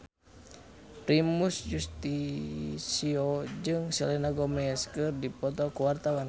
Primus Yustisio jeung Selena Gomez keur dipoto ku wartawan